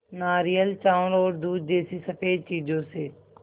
नारियल चावल और दूध जैसी स़फेद चीज़ों से